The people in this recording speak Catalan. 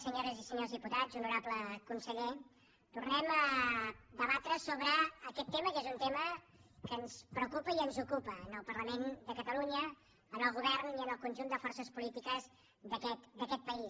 senyores i senyors diputats honorable conseller tornem a debatre sobre aquest tema que és un tema que ens preocupa i ens ocupa al parlament de catalunya al govern i al conjunt de forces polítiques d’aquest país